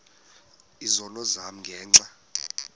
izono zam ngenxa